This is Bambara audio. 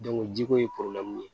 jiko ye ye